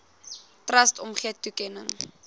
trust omgee toekenning